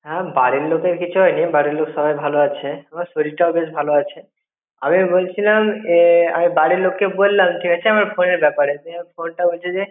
হ্যাঁ বাড়ির লোকের কিছু হয়নি, বাড়ির লোক সবাই ভালো আছে আমার শরীরটাও বেশ ভালো আছে. আমি বলছিলাম এ আমি বাড়িরলোক কে বলাম ঠিক আছে আমার phone এর ব্যাপারে যে phone টা হচ্ছে যে